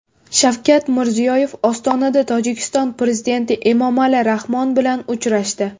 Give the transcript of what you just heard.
Shavkat Mirziyoyev Ostonada Tojikiston prezidenti Emomali Rahmon bilan uchrashdi.